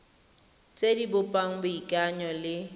tse di bopang boikanyo le